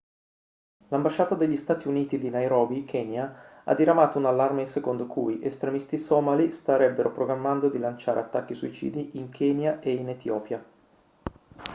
l'ambasciata degli stati uniti di nairobi kenya ha diramato un allarme secondo cui estremisti somali starebbero programmando di lanciare attacchi suicidi in kenya e in etiopia